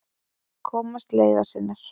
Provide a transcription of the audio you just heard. Komast leiðar sinnar.